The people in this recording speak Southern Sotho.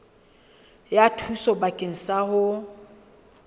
ya thuso bakeng sa ho